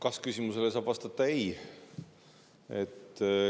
Kas-küsimusele saab vastata ei.